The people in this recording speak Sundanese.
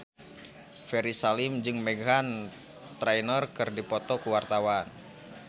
Ferry Salim jeung Meghan Trainor keur dipoto ku wartawan